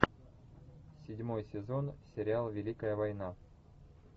седьмой сезон сериал великая война